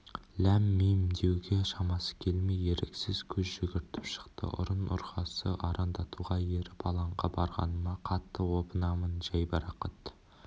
ләм-мим деуге шамасы келмей еріксіз көз жүгіртіп шықты ұзын-ұрғасы арандатуға еріп алаңға барғаныма қатты опынамын жайбарақат